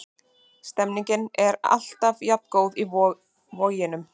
Stemningin er alltaf jafn góð í Voginum.